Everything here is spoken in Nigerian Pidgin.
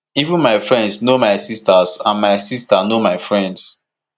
even my friends know my sisters and my sisters know my friends